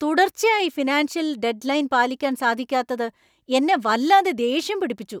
തുടർച്ചയായി financial deadline പാലിക്കാൻ സാധിക്കാത്തത് എന്നെ വല്ലാതെ ദേഷ്യം പിടിപ്പിച്ചു.